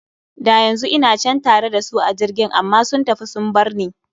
Da yanzu ina can tare da su a jirgin, amma sun tafi sun barni.